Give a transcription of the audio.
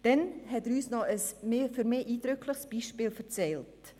Der Spezialist hat uns zudem von einem eindrücklichen Beispiel erzählt.